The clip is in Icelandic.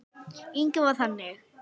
Inga var þannig.